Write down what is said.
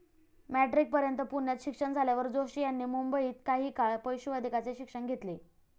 मेट्रिकपर्यंत पुण्यात शिक्षण झाल्यावर जोशी यांनी मुंबईत काही काळ पशुवैद्यकाचे शिक्षण घेतले.